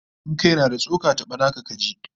In kai na da tsoka, taba naka kaji!